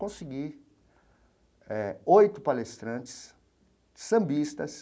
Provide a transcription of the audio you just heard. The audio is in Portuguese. Consegui eh oito palestrantes sambistas,